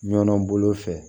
Ɲɔn bolo fɛ